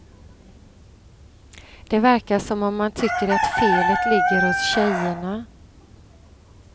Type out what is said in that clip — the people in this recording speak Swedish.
Det verkar som om man tycker att felet ligger hos tjejerna.